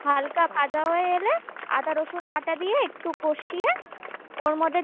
হালকা ভাজা হয়ে এলে আদা রসুন বাটা দিয়ে একটু কষিয়ে ওর মধ্যে